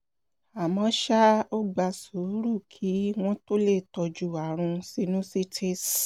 àmọ́ ṣá o ó gba sùúrù kí wọ́n tó lè tọ́jú ààrùn sinusitis